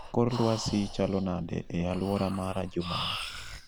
Kor lwasi chalo nade e aluora mara juma ni